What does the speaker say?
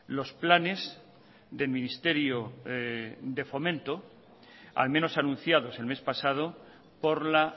los planes del ministerio de fomento al menos anunciados el mes pasado por la